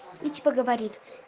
и типа говорит